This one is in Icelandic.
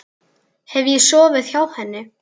Hef ég sofið hjá henni?